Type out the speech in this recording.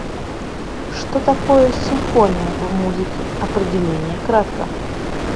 что такое симфония в музыке определение кратко